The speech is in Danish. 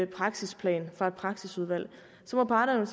praksisplan fra et praksisudvalg så må parterne